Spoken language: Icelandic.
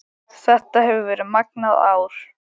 Þetta hefur verið magnað ár